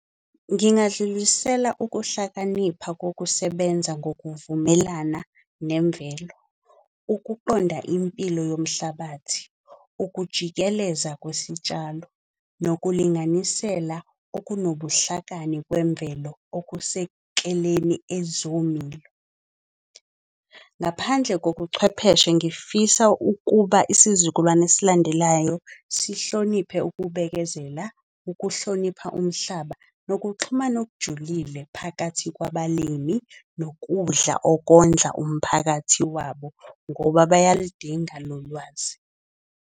Ngingadlulisela ukuhlakanipha kokusebenza ngokuvumelana nemvelo. Ukuqonda impilo yomhlabathi, ukujikeleza kwesitshalo, nokulinganisela okunobuhlakani kwemvelo okusekeleni ezomilo. Ngaphandle kobuchwepheshe ngifisa ukuba isizukulwane esilandelayo sihloniphe ukubekezela. Ukuhlonipha umhlaba nokuxhumana okujulile phakathi kwabalimi nokudla okondla umphakathi wabo. Ngoba bayalidinga lo lwazi.